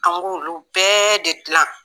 An b'olu bɛɛ de dilan